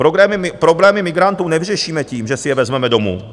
Problémy migrantů nevyřešíme tím, že si je vezmeme domů.